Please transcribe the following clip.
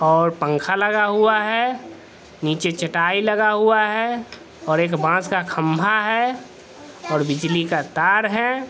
और पंखा लगा हुआ है नीचे चटाई लगा हुआ है और एक बास का खम्बा है और बिजली का तार है।